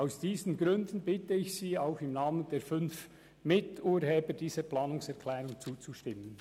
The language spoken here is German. Aus diesen Gründen bitte ich Sie, auch im Namen der fünf Miturheber dieser Planungserklärung, dieser zuzustimmen.